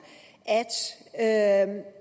at